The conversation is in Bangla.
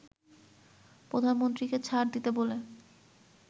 প্রধানমন্ত্রীকে ছাড় দিতে বলে